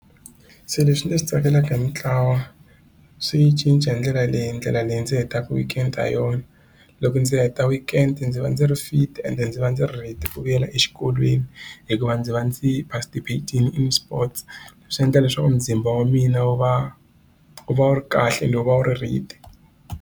Se leswi ni swi tsakelaka hi mintlawa swi cince hi ndlela leyi ndlela leyi ndzi hetaka weekend ha yona loko ndzi heta weekend ndzi va ndzi ri fit and ndzi va ndzi ri ready ku vuyela exikolweni hikuva ndzi va ndzi participat-ile in sports swi endla leswaku muzimba wa mina wu va wu va wu ri kahle and u va wu ri ready.